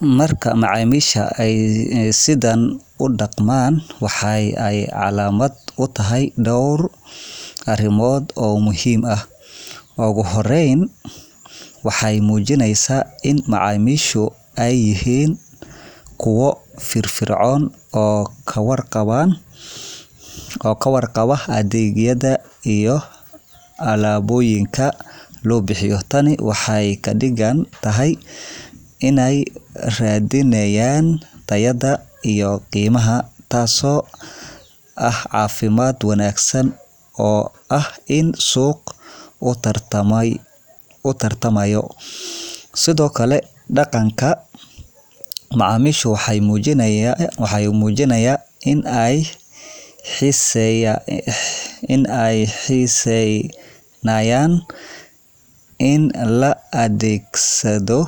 Marka macamisha at ay sidan u daqaman waxay aay camalat u tahay dowr arimoot oo muhim aah uguhoreyn waxay mujineysah in macaamishu ay yahin kuwa firfircoon oo kawarqabah adegyada iyo alabooyinka loo bixyoh taani waxay kadigantahay inay rathinayan tayada iyoh qiimaha taso ah cafimd wanagsan oo aah in suuq lagu tartamay sedokali daqanka macamisha waxay mujinaya in ay xeesenayan in la adegsadoh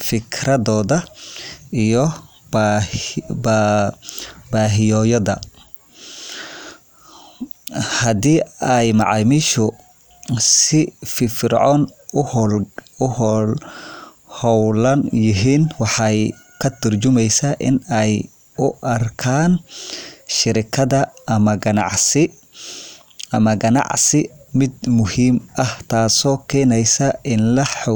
fikridooda iyo bahiyoyada handi ay macaamishu si firfircoon u hoolgalan waxay katarjumeesah in ay u arkan sheraga amah ganacsi mid muhim aah t assoo geeneysah in la xoojiyoh.